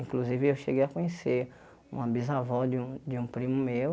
Inclusive, eu cheguei a conhecer uma bisavó de um de um primo meu.